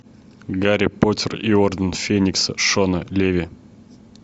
гарри поттер и орден феникса шона леви